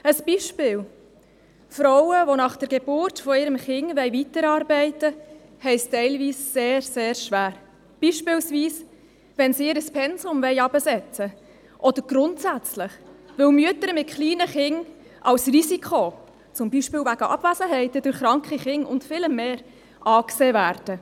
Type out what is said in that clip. Ein Beispiel: Frauen, die nach der Geburt ihres Kindes weiterarbeiten wollen, haben es teilweise sehr schwer, beispielsweise wenn sie ihr Pensum herabsetzen wollen, oder grundsätzlich, weil Mütter mit kleinen Kindern zum Beispiel wegen Abwesenheiten durch kranke Kinder und vielem mehr als Risiko angesehen werden.